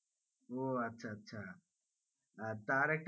ও আচ্ছা আচ্ছা আহ তার একটা,